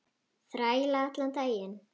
Þræla allan daginn!